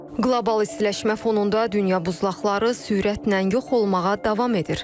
Qlobal istiləşmə fonunda dünya buzlaqları sürətlə yox olmağa davam edir.